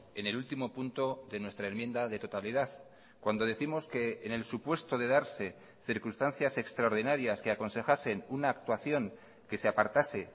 en el último punto de nuestra enmienda de totalidad cuando décimos que en el supuesto de darse circunstancias extraordinarias que aconsejasen una actuación que se apartase